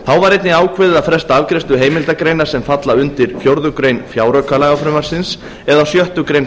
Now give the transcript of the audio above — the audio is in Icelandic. þá var einnig ákveðið að fresta afgreiðslu heimildagreina sem falla undir fjórða grein fjáraukalagafrumvarpsins eða sjöttu grein